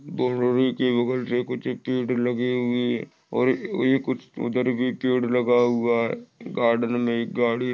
कुछ पेड़ लगे हुए और कुछ उधर भी पेड़ लगा हुआ गार्डेन मे गाड़ी--